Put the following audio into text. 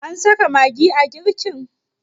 an saka magi a girkin?